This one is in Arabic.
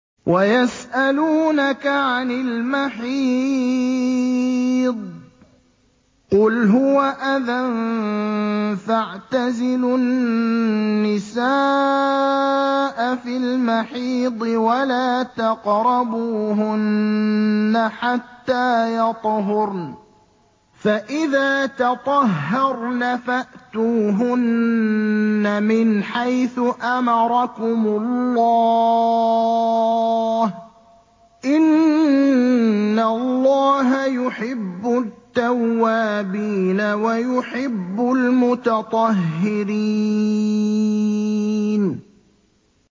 وَيَسْأَلُونَكَ عَنِ الْمَحِيضِ ۖ قُلْ هُوَ أَذًى فَاعْتَزِلُوا النِّسَاءَ فِي الْمَحِيضِ ۖ وَلَا تَقْرَبُوهُنَّ حَتَّىٰ يَطْهُرْنَ ۖ فَإِذَا تَطَهَّرْنَ فَأْتُوهُنَّ مِنْ حَيْثُ أَمَرَكُمُ اللَّهُ ۚ إِنَّ اللَّهَ يُحِبُّ التَّوَّابِينَ وَيُحِبُّ الْمُتَطَهِّرِينَ